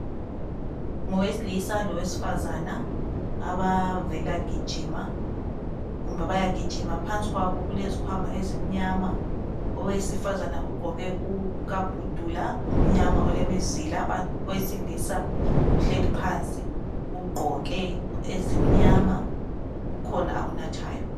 Ngowesilisa lowesifazana abavela gijima kumbe bayagijima. Phansi kwabo kulezikhwama ezimnyama. Owesifazana ugqoke ukabhudula omnyama olemizila owesilisa uhleli phansi ugqoke ezimnyama kukhona akunathayo.